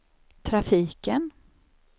trafiken